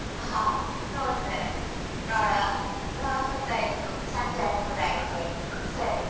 ಹಾ ನೋಡ್ತೇನೆ ನೋಡುವ ಹೊತ್ತಾಯ್ತು ಸಂಜೆ ಕೂಡ ಆಯ್ತು ಸರಿ.